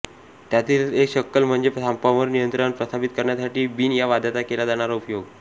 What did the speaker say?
त्यातीलच एक शक्कल म्हणजे सापांवर नियंत्रण प्रस्थापित करण्यासाठी बीन या वाद्याचा केला जाणारा उपयोग